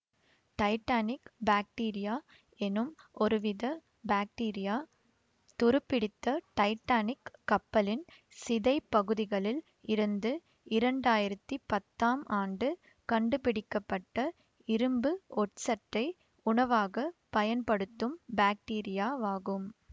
Titanic bacteria எனும் ஒருவித bacteria துரு பிடித்த டைட்டானிக் கப்பலின் சிதைப்பகுதிகளில் இருந்து இரண்டாயிரத்தி பத்தாம் ஆண்டு கண்டுபிடிக்க பட்ட இரும்பு ஒட்சட்டை உணவாகப் பயன்படுத்தும் பாக்டீரியாவாகும்